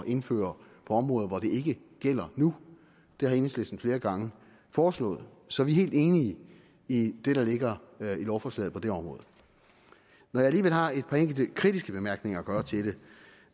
indføre på områder hvor det ikke gælder nu det har enhedslisten flere gange foreslået så vi er helt enige i det der ligger i lovforslaget på det område når jeg alligevel har et par enkelte kritiske bemærkninger at gøre til det